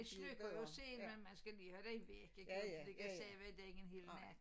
De slukker jo selv men man skal lige have den væk ikke man kan ikke ligge og sove dér en hel nat